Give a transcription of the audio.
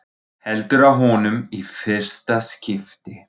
Heldur á honum í fyrsta skipti.